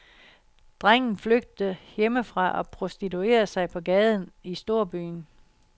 Drengen flygter hjemmefra og prostituerer sig på gaden i storbyen.